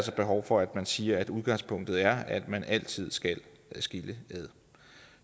behov for at man siger at udgangspunktet er at man altid skal adskille